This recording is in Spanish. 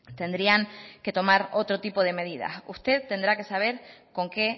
tendrían que tomar otro tipo de medidas usted tendrá que saber con qué